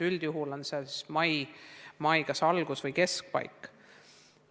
Üldjuhul on seal kirjas kas mai algus või keskpaik.